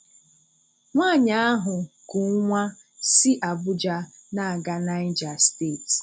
Nwáànyị ahụ kù nwá si Abuja na-aga Niger Steeti.